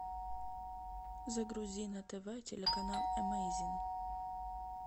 загрузи на тв телеканал эмейзинг